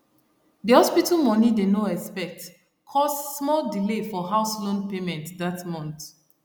the hospital money dey no expect cause small delay for house loan payment that month